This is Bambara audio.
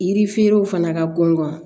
Yirifeerelaw fana ka gɔngɔn